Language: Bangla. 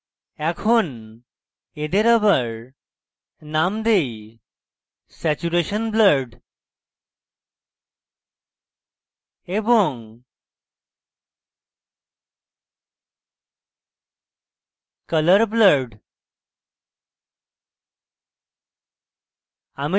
এখন এদের আবার নাম দেই saturation blurred এবং colour blurred